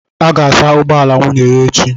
a ga-asa ụgbọ ala nwunye ya echi